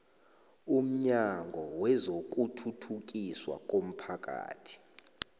umnyango wezokuthuthukiswa komphakathi